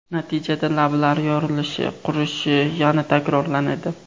Natijada lablar yorilishi, qurishi yana takrorlanadi.